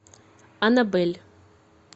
анабель